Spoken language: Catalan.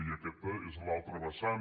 i aquesta és l’altra vessant